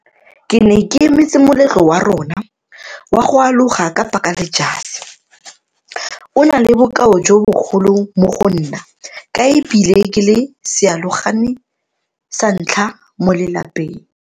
Ke ne ke emetse moletlo wa rona wa go aloga ka patla le jase. O na le bokao jo bogolo mo go nna ka e bile ke le sealogane sa ntlha mo lelapeng.